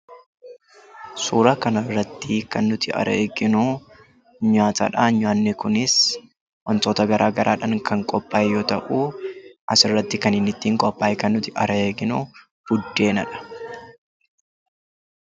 Suuraa kana irratti kan nuti arginu, nyaatadha. Nyaanni Kunis waantota garaagaraadhaan kan qophaa'e yoo ta'u , asirratti kan inni ittiin qophaa'e kan nuti arginu buddeenadha.